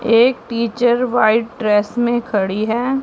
एक teacher white dress में खड़ी है।